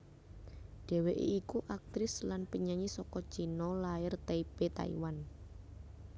Dheweké iku aktris lan penyanyi saka China lair Taipei Taiwan